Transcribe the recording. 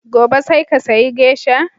Gobe sai ka sayi Geisha!